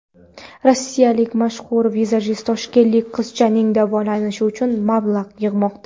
Rossiyalik mashhur vizajist toshkentlik qizchaning davolanishi uchun mablag‘ yig‘moqda.